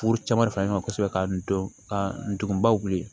Furu caman fara ɲɔgɔn kan kosɛbɛ ka n don ka ndugun baw wili